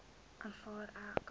aanvaar ek